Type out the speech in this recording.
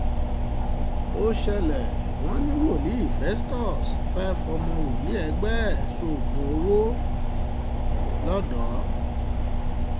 ó ṣẹlẹ̀ wọ́n ní wòlíì festus fẹ́ẹ́ fọmọ wòlíì ẹgbẹ́ ẹ̀ sóògùn owó lọ́dọ̀